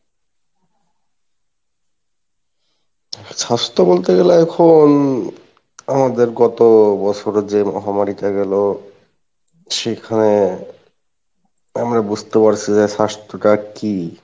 স্বাস্থ্য বলতে গেলে এখন আমাদের গত বছরের যে মহামারী টা গেলো সেখানে আমরা বুঝতে পারসি যে স্বাস্থ্য টা কী,